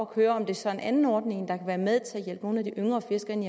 køre om det så er en anden ordning der kan være med til at hjælpe nogle af de yngre fiskere ind